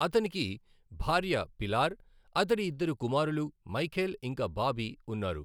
అతనికి భార్య పిలార్, అతడి ఇద్దరు కుమారులు మైఖేల్ ఇంకా బాబీ ఉన్నారు.